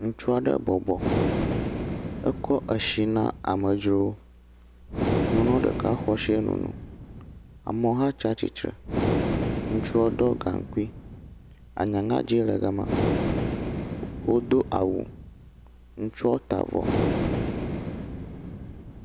Ŋutsu aɖe bɔbɔ. Ekɔ etsi na amedzrowo. Nyɔnua ɖeka xɔ etsi hã nɔ nonom. Amewo hã tsi atsitre. Ŋutsua ɖɔ gaŋkui. Aŋaŋadzi le ga ma. Wodo awu. Ŋutsua ta avɔ.